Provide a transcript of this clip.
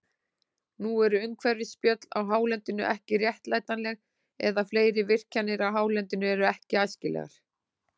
Nú eru umhverfisspjöll á hálendinu ekki réttlætanleg, eða fleiri virkjanir á hálendinu eru ekki æskilegar.